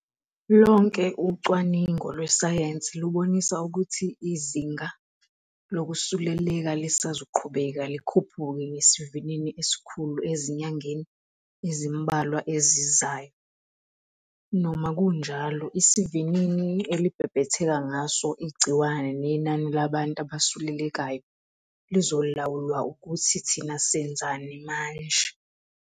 Lonke ucwaningo lwesayensi lubonisa ukuthi izinga lokusuleleka lisazoqhubeka likhuphuke ngesivinini esikhulu ezinyangeni ezimbalwa ezizayo. Noma kunjalo, isivinini elibhebhetheka ngaso igciwane nenani labantu abasulelekayo lizolawulwa ukuthi thina senzani manje.